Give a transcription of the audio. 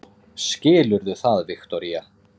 Skilurðu það, Viktoría?